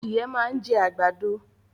Adìẹ máa ń jẹ́ àgbàdo